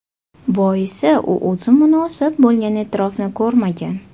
Boisi u o‘zi munosib bo‘lgan e’tirofni ko‘rmagan.